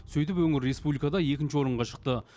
сөйтіп өңір республикада екінші орынға шықты